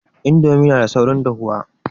Indomie na da saurin dahuwa